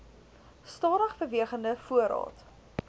stadig bewegende voorraad